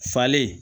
Falen